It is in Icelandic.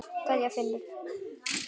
Kveðja, Finnur.